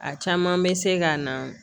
A caman bɛ se ka na